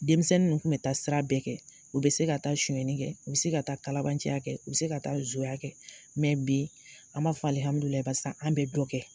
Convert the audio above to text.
Denmisɛn nu kun be taa sira bɛɛ kɛ u bɛ se ka taa suyɛni kɛ u be se ka taa kalabanciya kɛ u be se ka taa zonya kɛ mɛ bi an b'a fɔ alihamdulilahi barisa san be dɔ kɛ